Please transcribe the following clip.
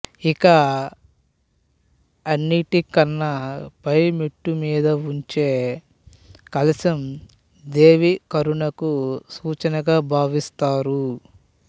ఇక అన్నిటికన్నా పై మెట్టు మీదవుంచే కలశం దేవీ కరుణకు సూచనగా బావిస్తారు